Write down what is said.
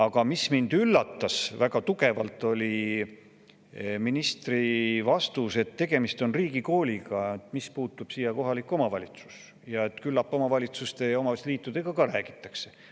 Aga mis mind väga üllatas, oli ministri vastus, et tegemist on riigikooliga ja mis puutub siia kohalik omavalitsus, küllap omavalitsuste ja omavalitsusliitudega ka räägitakse.